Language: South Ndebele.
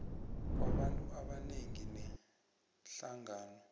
kwabantu abanengi neenhlangano